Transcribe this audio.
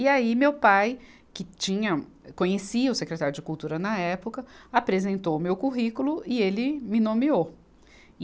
E aí meu pai, que tinha, conhecia o secretário de cultura na época, apresentou o meu currículo e ele me nomeou. e